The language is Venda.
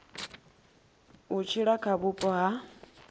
u tshila kha vhupo ha